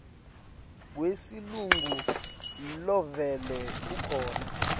wesilungu lovele ukhona